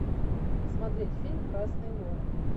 смотреть фильм красные горы